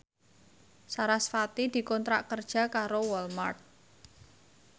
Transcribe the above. sarasvati dikontrak kerja karo Walmart